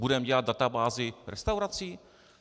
Budeme dělat databázi restaurací?